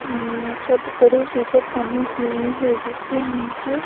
हम् छत बड़ी सी छत बनी हुई है जिसके नीचे --